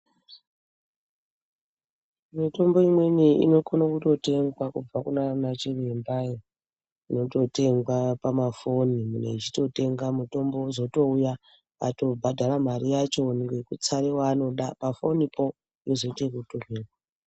Mutombo imweni inokone kungotengwa kubva kunana chirembayo yototengwa pamafoni munhu echitotenga mutombo wozotouya atobhadhara mare yacho ngekutsare waanoda pafonipo ozoite ekutumirwa.